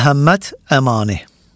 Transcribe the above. Məhəmməd Əmani.